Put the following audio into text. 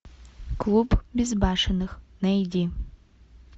клуб безбашенных найди